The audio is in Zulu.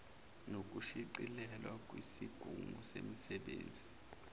nokushicilelwa kwisigungu semisebenzi